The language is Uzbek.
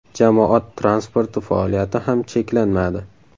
Jamoat transporti faoliyati ham cheklanmadi.